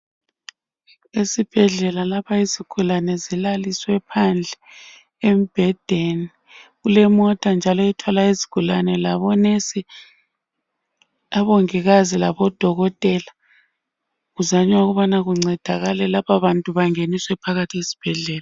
Esibhedlela lapha izigulane zilaliswe phandle embhedeni. Kulemota njalo ethwala izigulane labo nesi, omongikazi labodokotela. Kuzanywa ukubana kuncedakala laba bantu bangeniswe phakathi esibhedlela.